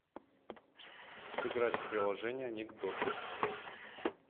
сыграть в приложение анекдоты